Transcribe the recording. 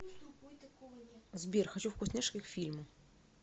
сбер хочу вкусняшки к фильму